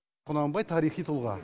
құнанбай тарихи тұлға